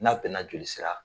N'a bɛnna joli sira